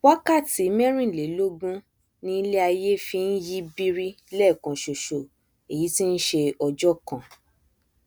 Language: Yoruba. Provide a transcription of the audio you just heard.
wákàtí mẹrìnlélógún ni iléaiyé fi nyí biri lẹẹkan ṣoṣo èyí tí nṣe ọjọ kan